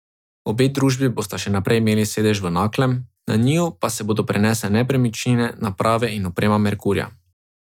Obe družbi bosta še vedno imeli sedež v Naklem, na njiju pa se bodo prenesle nepremičnine, naprave in oprema Merkurja.